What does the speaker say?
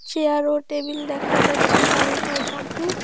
Chair ও table দেখা যাচ্ছে বারিন্ডার মধ্যে।